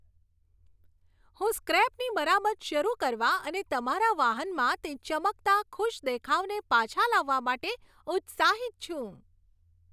હું સ્ક્રેપની મરામત શરૂ કરવા અને તમારા વાહનમાં તે ચમકતા, ખુશ દેખાવને પાછા લાવવા માટે ઉત્સાહિત છું!